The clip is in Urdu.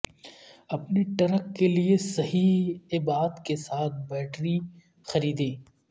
اپنے ٹرک کے لئے صحیح ابعاد کے ساتھ بیٹری خریدیں